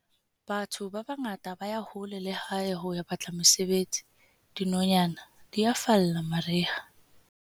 Batho ba bangata ba ya hole le lehae ho ya batla mosebetsi, dinonyana di a falla mariha.